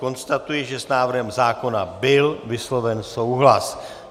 Konstatuji, že s návrhem zákona byl vysloven souhlas.